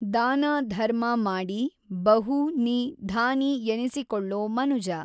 ದಾನ ಧರ್ಮ ಮಾಡಿ ಬಹು ನಿ ಧಾನಿ ಎನಿಸಿಕೊಳ್ಳೊ ಮನುಜ